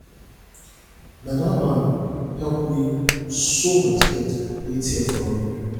na dat man help me sew my skirt wey tear for road